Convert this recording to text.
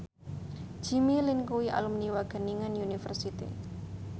Jimmy Lin kuwi alumni Wageningen University